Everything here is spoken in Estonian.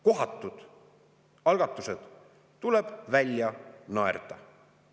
Kohatud algatused tuleb välja naerda.